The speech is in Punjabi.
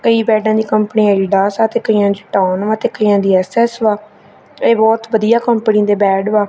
ਕਈ ਬੈਡਾਂ ਦੀ ਕੰਪਨੀ ਐਡੀਡਾਸ ਆ ਤੇ ਕਈਆਂ ਚ ਟਾਊਨ ਵਾ ਤੇ ਕਈਆਂ ਦੀ ਐਸ_ਐਸ ਵਾ। ਇਹ ਬਹੁਤ ਵਧੀਆ ਕੰਪਨੀ ਦੇ ਬੈਟ ਵਾ।